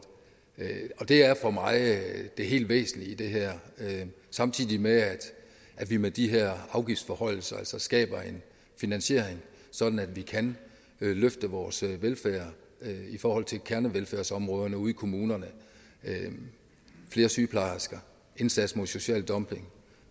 det er for mig det helt væsentlige i det her samtidig med at vi med de her afgiftsforhøjelser altså skaber en finansiering sådan at vi kan løfte vores velfærd i forhold til kernevelfærdsområderne ude i kommunerne flere sygeplejersker indsats mod social dumping